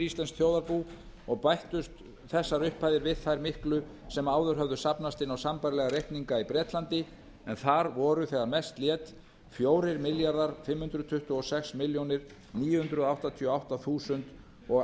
íslenskt þjóðarbú og bættust þessar upphæðir við þær miklu upphæðir sem áður höfðu safnast inn á sambærilega reikninga í bretlandi en þar voru þegar mest lét fjórir milljarðar fimm hundruð tuttugu og sex milljónir níu hundruð áttatíu og átta þúsund og